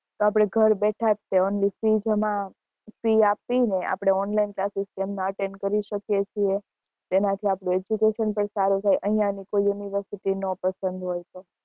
તો આપડે ઘરે બેઠા જ ફી આપી ને online classes તેમના attend કરી શકીએ છીએ તેના થી આપડુ education પણ સારું થાય અહિયાં ની કોઈ university ન પસંદ હોય તો